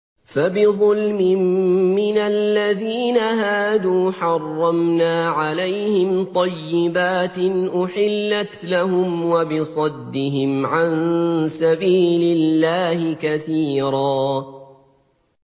فَبِظُلْمٍ مِّنَ الَّذِينَ هَادُوا حَرَّمْنَا عَلَيْهِمْ طَيِّبَاتٍ أُحِلَّتْ لَهُمْ وَبِصَدِّهِمْ عَن سَبِيلِ اللَّهِ كَثِيرًا